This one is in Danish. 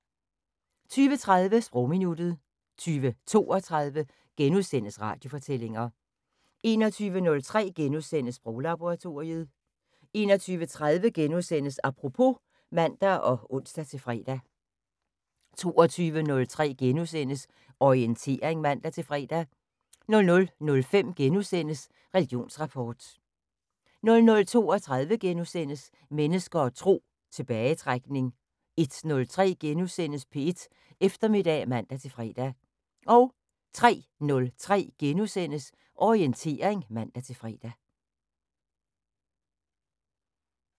20:30: Sprogminuttet 20:32: Radiofortællinger * 21:03: Sproglaboratoriet * 21:30: Apropos *(man og ons-fre) 22:03: Orientering *(man-fre) 00:05: Religionsrapport * 00:32: Mennesker og Tro: Tilbagetrækning * 01:03: P1 Eftermiddag *(man-fre) 03:03: Orientering *(man-fre)